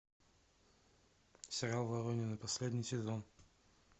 сериал воронины последний сезон